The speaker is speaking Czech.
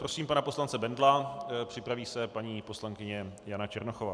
Prosím pana poslance Bendla, připraví se paní poslankyně Jana Černochová.